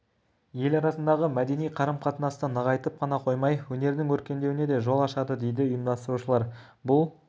ел арасындағы мәдени қарым-қатынасты нығайтып қана қоймай өнердің өркендеуіне де жол ашады дейді ұйымдастырушылар бұл